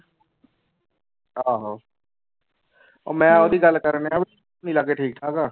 ਆਹੋ ਮੈਂ ਉਹਦੀ ਗੱਲ ਕਰਨਡਿਆ ਠੀਕ ਠਾਕ ਆ।